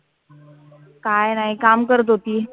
काय नाही काम करत होती.